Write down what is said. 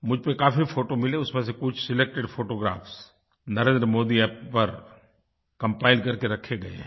मुझे इस पर काफ़ी फ़ोटो मिले उसमें से कुछ सिलेक्टेड फोटोग्राफ NarendraModiApp पर कंपाइल करके रखे गए हैं